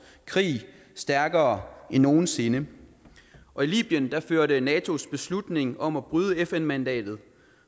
krig stærkere end nogen sinde og i libyen førte natos beslutning om at bryde fn mandatet